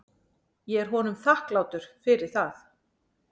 Ég er honum þakklátur fyrir það.